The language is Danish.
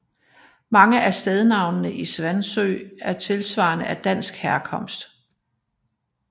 Mange af stednavnene i Svansø er tilsvarende af dansk herkomst